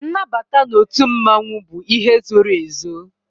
Nnabata n'otu mmanwu bụ ihe zoro ezo